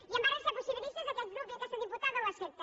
i en ares de ser possibilistes aquest grup i aquesta diputada ho accepta